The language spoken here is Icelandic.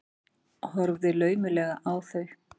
Horfi laumulega á þau.